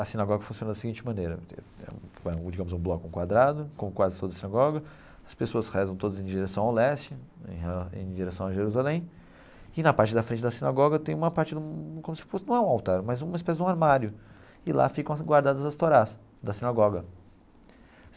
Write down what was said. A sinagoga funciona da seguinte maneira, é um digamos um bloco, um quadrado, como quase todas as sinagoga, as pessoas rezam todas em direção ao leste, em em direção a Jerusalém, e na parte da frente da sinagoga tem uma parte como se fosse, não é um altar, mas uma espécie de um armário, e lá ficam guardadas as torás da sinagoga.